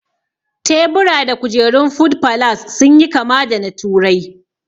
Tebura da kujerun food falas sun yi kama da na turai